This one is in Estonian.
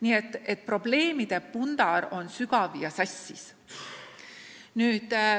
Nii et probleemide pundar on suur ja sassis.